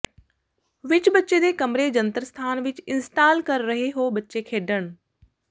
ਵਿਚ ਬੱਚੇ ਦੇ ਕਮਰੇ ਜੰਤਰ ਸਥਾਨ ਵਿੱਚ ਇੰਸਟਾਲ ਕਰ ਰਹੇ ਹੋ ਬੱਚੇ ਖੇਡਣ